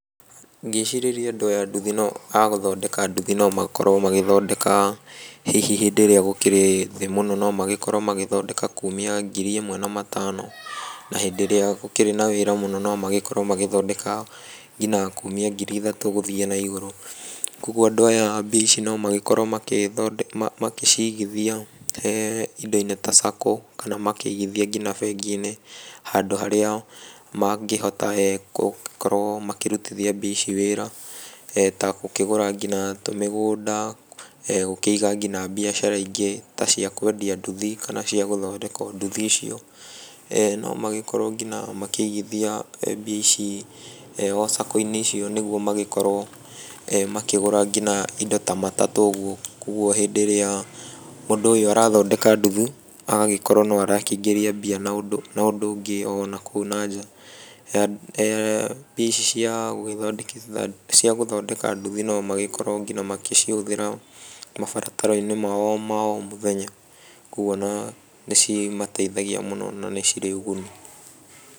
Ngĩcirĩria andũ aya a nduthi no, agũthondeka nduthi no makorwo magĩthondeka hihi hĩndĩ ĩrĩa gũkĩrĩ thĩ mũno no magĩkorwo magĩthondeka kumia ngiri ĩmwe na matano na hĩndĩ ĩrĩa gũkĩrĩ na wĩra mũno no makorwo magĩthondeka nginya kumia ngiri ĩthatũ gũthiĩ na igũrũ. Kuoguo andũ aya mbia ici no magĩkorwo magĩthondeka magĩcigithia indo-inĩ ta saco, kana makĩigithia nginya bengi-inĩ handũ harĩa mangĩhota gũkorwo makĩrutithia mbia ici wĩra ta gũkĩgũra kinya tũmĩgũnda, gũkĩiga kinya mbiacara ingĩ ta cia kwendia nduthi kana cia gũthondeka nduthi icio, no makorwo kinya makĩigithia mbia ici o saco-inĩ icio nĩguo magĩkorwo makĩgũra kinya indo ta matatũ ũguo, kuoguo hĩndĩ ĩrĩa mũndũ ũyũ arathondeka nduthi, agagĩkorwo no arakĩingĩria mbia na ũndũ wa na ũndũ ũngĩ ona kũu na nja. Mbia ici cia gũgĩthondekithia cia gũthondeka nduthi no magĩkorwo ngina magĩcihũthĩra mabataro-inĩ mao ma o mũthenya, kuoguo ona nĩcimateithagia mũno na nĩcirĩ ũguni.